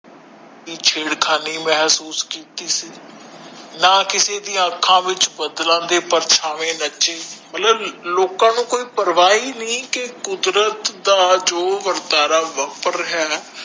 ਕਿ ਛੇੜ ਖਾਣੀ ਮਹਿਸੂਸ ਕੀਤੀ ਸੀ ਨਾ ਕਿਸੇ ਦੀ ਅੱਖਾਂ ਵਿਚ ਬਦਲਾਂ ਦੇ ਪ੍ਰਸ਼ਾਵੇ ਨਚੇ ਮਤਲਬ ਲੋਕਾਂ ਨੂੰ ਕੋਈ ਪ੍ਰਵਾਹ ਹੀ ਨਹੀਂ ਕਿ ਕੁਦਰਤ ਦਾ ਜੋ ਰਿਹਾ ਹੈ